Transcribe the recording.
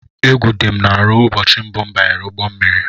Égwu dị m n'arụ ụbọchị mbụ m banyere ụgbọ mmiri.